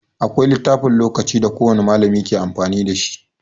Akwai littafin lokaci da kowan malami yake amfani dashi.